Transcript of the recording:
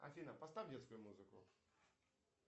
афина поставь детскую музыку